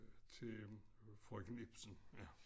til frøken Ipsen ja